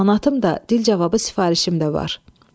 Amanatım da, dil cavabı sifarişim də var.